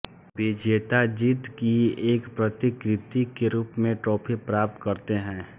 विजेता जीत की एक प्रतिकृति के रूप में ट्राफी प्राप्त करते हैं